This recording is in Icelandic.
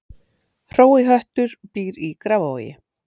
Hrói höttur býr í Grafarvogi